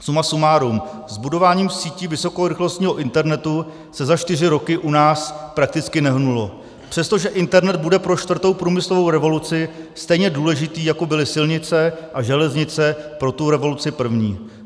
Suma sumárum, s budováním sítí vysokorychlostního internetu se za čtyři roky u nás prakticky nehnulo, přestože internet bude pro čtvrtou průmyslovou revoluci stejně důležitý, jako byly silnice a železnice pro tu revoluci první.